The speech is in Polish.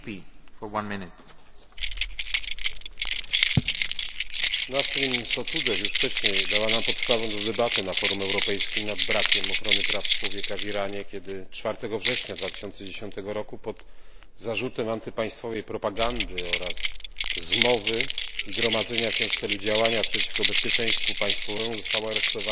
Panie Przewodniczący! Nasrin Sotudeh już wcześniej dała nam podstawy do debaty na forum europejskim nad brakiem ochrony praw człowieka w Iranie, kiedy 4 września 2010 roku pod zarzutem antypaństwowej propagandy oraz zmowy i gromadzenia się w celu działania przeciwko bezpieczeństwu państwowemu została aresztowana